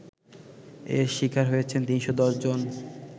এর শিকার হয়েছেন ৩১০ জন